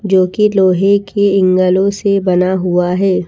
जो कि लोहे के एंग्लों से बना हुआ है।